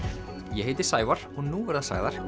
ég heiti Sævar og nú verða sagðar